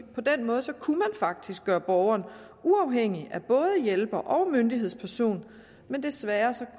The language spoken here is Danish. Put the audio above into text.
på den måde kunne man faktisk gøre borgeren uafhængig af både hjælper og myndighedsperson men desværre